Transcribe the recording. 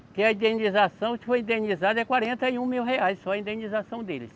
Porque a indenização, se for indenizado, é quarenta e um mil reais só a indenização deles.